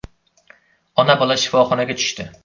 Ona-bola shifoxonaga tushdi.